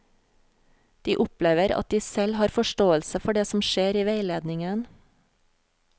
De opplever at de selv har forståelse for det som skjer i veiledningen.